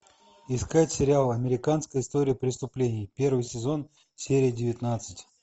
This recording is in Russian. искать сериал американская история преступлений первый сезон серия девятнадцать